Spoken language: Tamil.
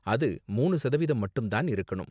அது மூனு சதவீதம் மட்டும் தான் இருக்கணும்